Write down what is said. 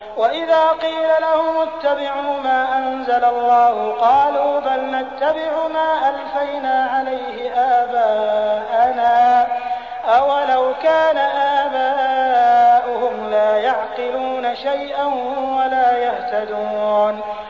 وَإِذَا قِيلَ لَهُمُ اتَّبِعُوا مَا أَنزَلَ اللَّهُ قَالُوا بَلْ نَتَّبِعُ مَا أَلْفَيْنَا عَلَيْهِ آبَاءَنَا ۗ أَوَلَوْ كَانَ آبَاؤُهُمْ لَا يَعْقِلُونَ شَيْئًا وَلَا يَهْتَدُونَ